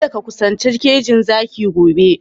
Kadda ka kusanci kejin zaki gobe!